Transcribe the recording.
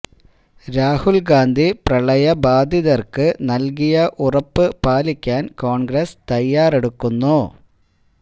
രാഹുൽ ഗാന്ധി പ്രളയ ബാധിതർക്ക് നൽകിയ ഉറപ്പ് പാലിക്കാൻ കോൺഗ്രസ് തയ്യാറെടുക്കുന്നു